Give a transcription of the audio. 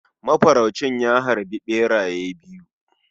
Mafaraucin ya harbi beraye biyu.